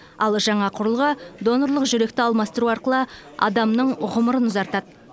ал жаңа құрылғы донорлық жүректі алмастыру арқылы адамның ғұмырын ұзартады